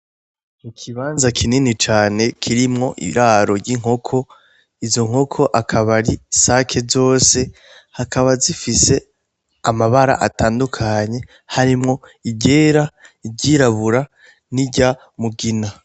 I kibanza kinini cane kirimwo iraro ry'inkoko izo nkoko akaba ari sake zose hakaba zifise amabara atandukanye harimwo igera iryirabura ni rya mugina.